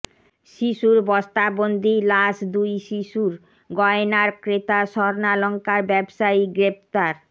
শিশুর বস্তাবন্দী লাশ দুই শিশুর গয়নার ক্রেতা স্বর্ণালংকার ব্যবসায়ী গ্রেপ্তার